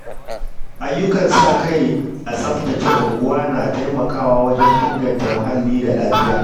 Ayyukan sa-kai a tsaftace unguwa na taimakawa wajen inganta muhalli da lafiya.